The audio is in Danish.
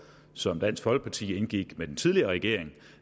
som dansk folkeparti indgik med den tidligere regering